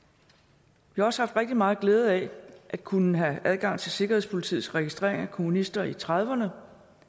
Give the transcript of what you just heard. vi har også haft rigtig meget glæde af at kunne have adgang til sikkerhedspolitiets registreringer af kommunister i nitten trediverne